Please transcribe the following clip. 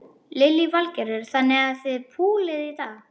Lillý Valgerður: Þannig að þið púlið í dag?